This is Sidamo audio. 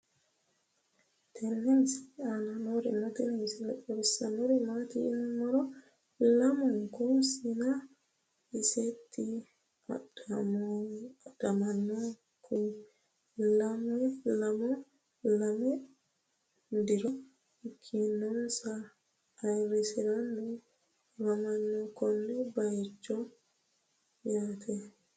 tenne misile aana noorina tini misile xawissannori maati yinummoro lamunku sienna iseetti adhaminkuyi leemo diro ikeennansa ayiirisiranni afammanno konne bayiichcho yaatte